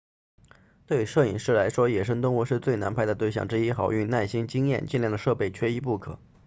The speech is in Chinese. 对摄影师来说野生动物是最难拍的对象之一好运耐心经验精良的设备缺一不可